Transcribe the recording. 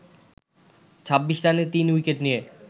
২৬ রানে ৩ উইকেট নিয়ে